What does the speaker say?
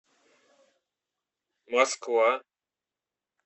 москва